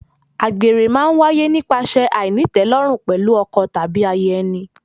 Àgbèrè má ń wáyé nípasẹ̀ àìnítẹ̀lórùn pẹ̀lú ọkọ tàbí aya ẹni.